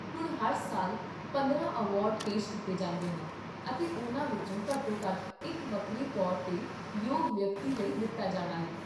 ਹੁਣ, ਹਰ ਸਾਲ ਪੰਦਰਾਂ ਅਵਾਰਡ ਪੇਸ਼ ਕੀਤੇ ਜਾਂਦੇ ਹਨ, ਅਤੇ ਉਹਨਾਂ ਵਿੱਚੋਂ ਘੱਟੋ ਘੱਟ ਇੱਕ ਵੱਖਰੇ ਤੌਰ 'ਤੇ ਯੋਗ ਵਿਅਕਤੀ ਲਈ ਦਿੱਤਾ ਜਾਣਾ ਹੈ